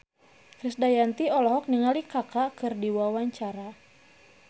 Krisdayanti olohok ningali Kaka keur diwawancara